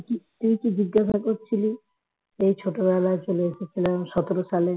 তুই কি জিজ্ঞাসা করছিলি সেই ছোটবেলায় চলে এসেছিলাম সতেরো সালে